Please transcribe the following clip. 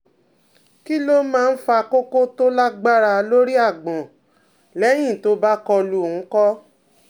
Kí ló máa ń fa koko tó lágbára lórí agbọn lẹ́yìn tó bá kọlu oun ko?